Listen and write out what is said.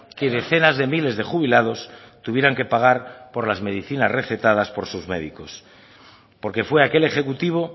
que decenas de miles de jubilados tuvieran que pagar por las medicinas recetadas por sus médicos porque fue aquel ejecutivo